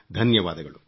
ಧನ್ಯವಾದಗಳು